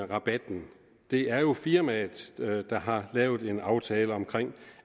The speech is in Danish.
rabatten det er jo firmaet der har lavet en aftale om